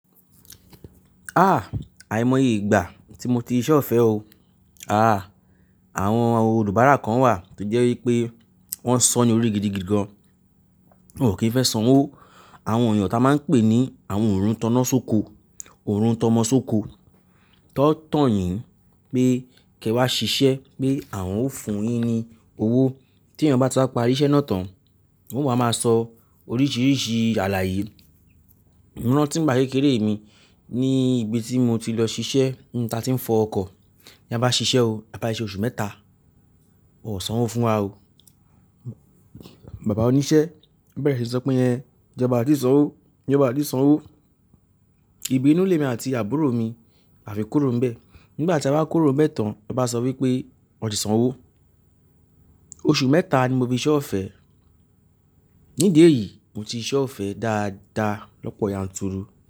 Ah! Àìmọye ìgbà tí mo ti ṣíṣe ọ̀fẹ́ o. Ah! Àwọn olùbárà kan wà tó jẹ́ wípé wọ́n san ní orí gidigidi gan, wọn ò kí ń fẹ́ sanwó. Àwọn èèyàn tó máa ń pè ní àwọn òrun tọ́nà sóko, òru tọ́mọ sóko, tán tàn yín pé kí ẹ wá ṣiṣẹ́, pé àwọn ó fún yín ní owó tí èèyàn bá ti wá parí iṣẹ́ náà tán, wọn máa máa sọ oríṣiríṣi àlàyé. Emi ranti n gba kékeré mi ni ibi tí mo ti lọ ṣiṣẹ́, n ta ti ń fọ ọkọ̀. Ní a bá ṣiṣẹ́ o, a bá ṣiṣẹ́ oṣù mẹ́ta, wọ́n ó sanwó fún wa o. Bàbá oníṣẹ́ bẹ̀rẹ̀ sí í sọ pé, "Ẹ̀hn íjọba o ti sanwó, íjọba o ti sanwó." Ibinú lemi àti àbúrò mi, a fi kúrò ń bẹ. Nígbà tí a wa kúrò mẹ́ta, ọ bá sọ wípé wọ́n ti sanwó. Oṣù mẹ́ta ni mo fi ṣíṣe ọ̀fẹ́. Nídi eyìí mo ti ṣíṣe ọ̀fẹ́ dáadáa lọ́pọ̀ yanturu.